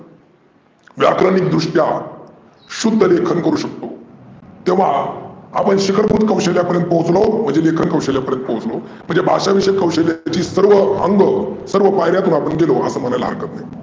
व्याकरणीक दृष्ट्या शुध्दलेखन करू शकतो. तेव्हा आपण शिकर पर्यंत पोहचलो म्हणजे लेखन कौशल्या पर्यंत पोहचलो. म्हणजे भाषविषयक कौशल्याची सर्व अंग सर्व पायर्‍या आपण गेलो असं म्हणायला हरकत नाही.